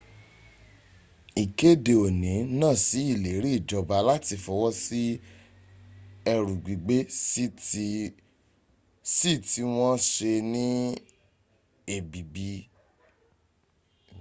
ikede oni na sí ileri ijoba lati fowo sí eru gbigbe sii ti wọ́́n se ní èbìbí